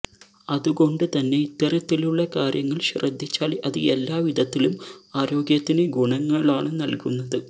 അതുകൊണ്ട് തന്നെ ഇത്തരത്തിലുള്ള കാര്യങ്ങള് ശ്രദ്ധിച്ചാല് അത് എല്ലാ വിധത്തിലും ആരോഗ്യത്തിന് ഗുണങ്ങളാണ് നല്കുന്നത്